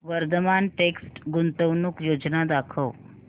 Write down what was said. Vardhman text गुंतवणूक योजना दाखव